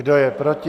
Kdo je proti?